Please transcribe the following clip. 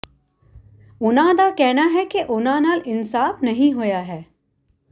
ਉਨ੍ਹਾਂ ਦਾ ਕਹਿਣਾ ਹੈ ਕਿ ਉਨ੍ਹਾਂ ਨਾਲ ਇਨਸਾਫ਼ ਨਹੀਂ ਹੋਇਆ ਹੈ